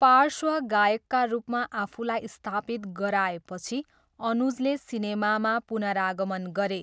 पार्श्व गायकका रूपमा आफूलाई स्थापित गराएपछि अनुजले सिनेमामा पुनरागमन गरे।